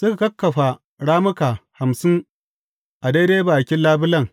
Suka kakkafa rammuka hamsin a daidai bakin labulen,